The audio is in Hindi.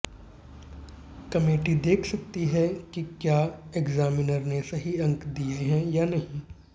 कमेटी देख सकती है कि क्या एग्जामिनर ने सही अंक दिए हैं या नहीं